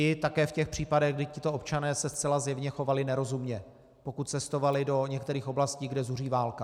I také v těch případech, kdy tito občané se zcela zjevně chovali nerozumně, pokud cestovali do některých oblastí, kde zuří válka.